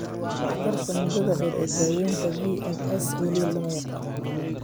Waxtarka muddada dheer ee daawaynta VNS weli lama yaqaan.